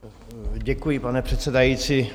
Děkuji, pane předsedající.